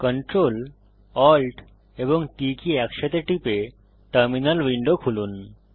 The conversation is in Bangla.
Ctrl Alt এবং T কী একসাথে টিপে টার্মিনাল উইন্ডো খুলুন